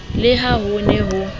le ha ho ne ho